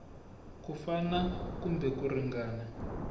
ku fana kumbe ku ringana